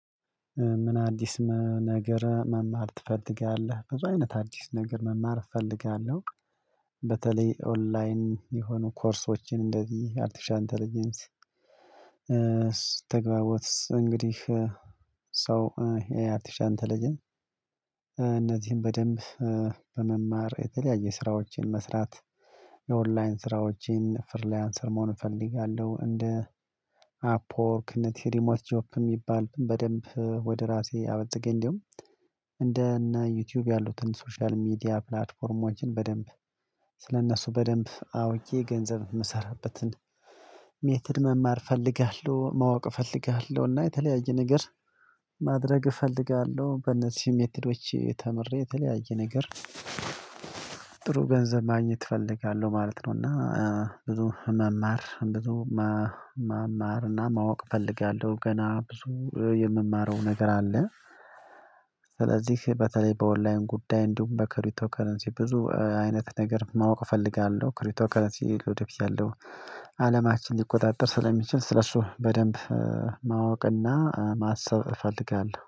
ምን አዲስ ነገር መማር ትፈልጋለህ? በዚህ አይነት አዲስ ነገር መማር እፈልጋለሁ በተለይ ኦንላይን የሆኑ ኮርሶችን እንደዚህ አርቲፊሻል ኢንተለጀንስ ተግባቦት እንግዲህ ሰው የአርቲፊሻል ኢንተለጀንስ እነዚህን በደንብ በመማር የተለያየ ስራዎችን መስራት የኦንላይን ስራዎችን ፍርሊያንሰር መሆን እፈልጋለሁ እንደ አፖርክ እንደ ቴሪሞት ጆፕ የሚባሉትን በደንብ ወደ ራሴ አበጠገኝ እንደውም እንደ እነ ዩቲዩብ ያሉትን ሶሻል ሚዲያ ፕላትፎርሞችን በደንብ ስለእነሱ በደንብ አውቄ በደንብ ገንዘብ የምሰራበትን ሜተድ መማር እፈልጋለሁ ማወቅ እፈልጋለሁ እና የተለያየ ነገር ማድረግ እፈልጋለሁ በነዚም ሜተዶች ተምሬ የተለያየ ነገር ጥሩ ገንዘብ ማግኘት እፈልጋለሁ ማለት ነው እና ብዙ መማር ብዙ መማር እና ማወቅ እፈልጋለሁ ገና ብዙ የምማረው ነገር አለ፤ ስለዚህ በተለይ በኦንላይን ጉዳይ እንዲሁም በክሪቶ ከረንሲ ብዙ አይነት ነገር ማወቅ እፈልጋለሁ ክሪቶከለሲ ወደ ፊት ያለው አለማችን ሊቆጣጠር ስለሚችል ስለሱ በደንብ ማወቅና ማሰብ እፈልጋለሁ።